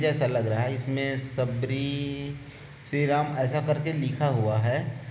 --जैसा लग रहा है इस मे शबरी श्री राम ऐसा करके लिखा हुआ है।